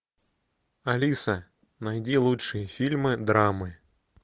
алиса найди лучшие фильмы драмы